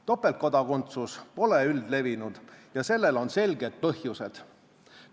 Topeltkodakondsus pole üldlevinud ja sellel on selged põhjused.